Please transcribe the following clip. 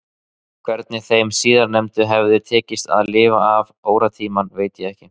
Hvernig þeim síðarnefnda hafði tekist að lifa af óróatímana veit ég ekki